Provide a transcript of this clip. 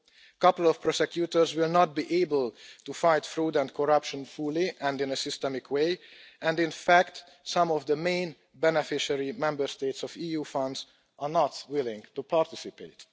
A couple of prosecutors will not be able to fight fraud and corruption fully and in a systematic way, and in fact some of the main beneficiary Member States of EU funds are not willing to participate.